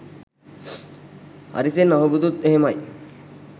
අරිසෙන් අහුබුදුත් එහෙමයි